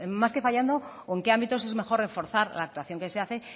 más que fallando o en que ámbitos es mejor reforzar la actuación que se hace